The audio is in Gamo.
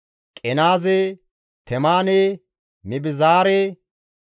Qenaaze, Temaane, Mibizaare,